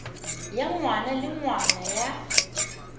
ya ngwaga le ngwaga ya